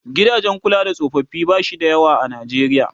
gidajen kula da tsofaffi bashi da yawa a Najeriya